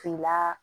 Finya